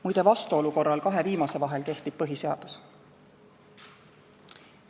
Muide, vastuolu korral kahe viimase vahel kehtib põhiseadus.